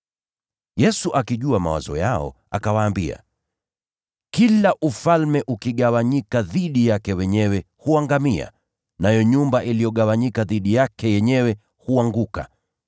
Yesu akajua mawazo yao, naye akawaambia, “Kila ufalme ukigawanyika dhidi yake wenyewe huangamia. Nayo nyumba iliyogawanyika dhidi yake yenyewe itaanguka.